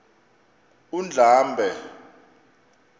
undlambe